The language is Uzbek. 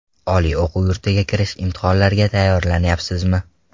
Oliy o‘quv yurtiga kirish imtihonlariga tayyorlanyapsizmi?